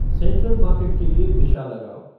central market के लिए दिशा लगाओ